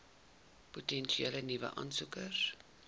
potensiële nuwe aansoekers